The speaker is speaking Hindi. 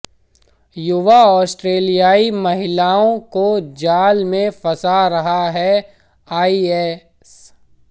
युवा ऑस्ट्रेलियाई महिलाओं को जाल में फंसा रहा है आईएस